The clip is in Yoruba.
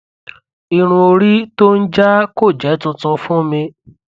irun orí tó ń jaá kò jẹ tuntun fún mi